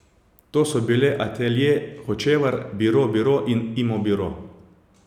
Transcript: To so bile Atelje Hočevar, Biro Biro in Imo biro.